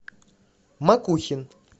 макухин